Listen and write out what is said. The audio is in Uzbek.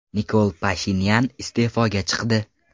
Nikol Pashinyan iste’foga chiqdi.